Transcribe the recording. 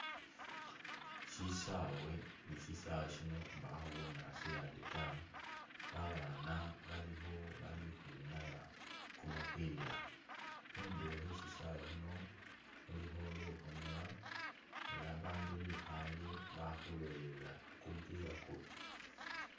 Shisaawe ne shisaawe shino mbakho bunyaasi yade tawe, babaana bali khu bali ukhwinyaya kumupila, khundulo khwe shisaawe khuno khulikho lukhomela ela abandu bikhaye bali khulolelela kumupila kuno